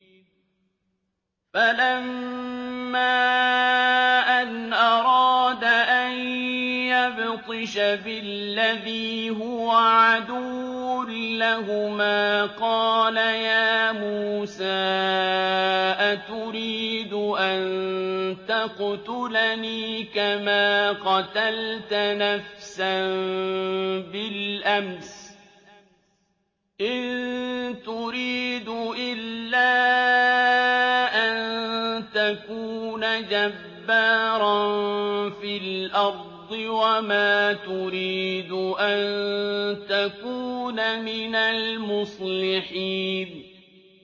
فَلَمَّا أَنْ أَرَادَ أَن يَبْطِشَ بِالَّذِي هُوَ عَدُوٌّ لَّهُمَا قَالَ يَا مُوسَىٰ أَتُرِيدُ أَن تَقْتُلَنِي كَمَا قَتَلْتَ نَفْسًا بِالْأَمْسِ ۖ إِن تُرِيدُ إِلَّا أَن تَكُونَ جَبَّارًا فِي الْأَرْضِ وَمَا تُرِيدُ أَن تَكُونَ مِنَ الْمُصْلِحِينَ